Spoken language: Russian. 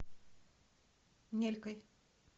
нелькой